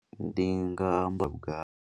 Ndi nga amba nga.